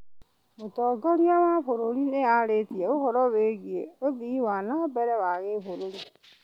Mũtongoria wa bũrũri nĩ arĩtie ũhoro wĩgiĩ ũthii wa nambere wa gĩbũrũri?